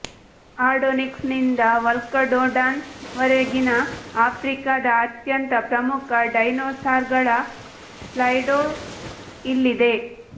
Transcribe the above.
ಅರ್ಡೋನಿಕ್ಸ್ನಿಂದ ವಲ್ಕಡೋಡಾನ್ ವರೆಗಿನ ಆಫ್ರಿಕಾದ ಅತ್ಯಂತ ಪ್ರಮುಖ ಡೈನೋಸಾರ್ಗಳ ಸ್ಲೈಡ್ಶೋ ಇಲ್ಲಿದೆ